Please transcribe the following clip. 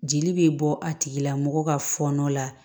Jeli bɛ bɔ a tigila mɔgɔ ka fɔɔnɔ la